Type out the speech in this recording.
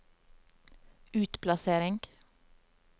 utplassering